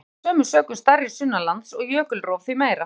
Jöklar eru af sömu sökum stærri sunnanlands og jökulrof því meira.